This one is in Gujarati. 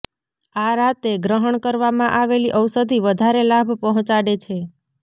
આ રાતે ગ્રહણ કરવામા આવેલી ઔષધિ વધારે લાભ પહોંચાડે છે